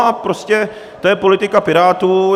A prostě to je politika Pirátů.